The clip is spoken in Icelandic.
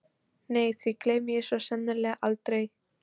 Nei því gleymi ég svo sannarlega aldrei.